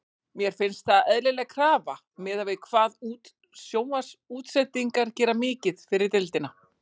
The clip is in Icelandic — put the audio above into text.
Mér finnst það eðlileg krafa miðað við hvað sjónvarpsútsendingar gera mikið fyrir deildina.